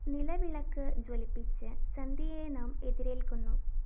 നിലവിളക്ക് ജ്വലിപ്പിച്ച് സന്ധ്യയെ നാം എതിരേല്‍ക്കുന്നു